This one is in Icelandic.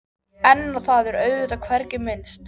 En á það er auðvitað hvergi minnst.